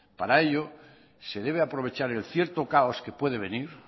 para ello se debe aprovechar el cierto caos que puede venir